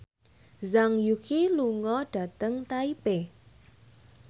Zhang Yuqi lunga dhateng Taipei